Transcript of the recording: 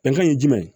Bɛnkan ye jumɛn ye